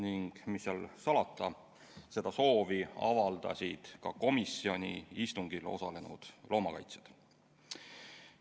Ning mis seal salata, seda soovi avaldasid ka komisjoni istungil osalenud loomakaitsjad.